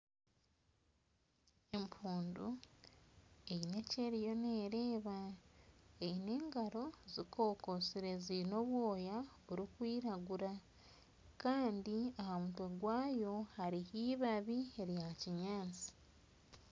Empundu Eine eki eriyo neereeba Eine engaro zikokotsire ziine obwoya burikwiragura Kandi aha mutwe gwayo hariyo ibabi eryakinyatsi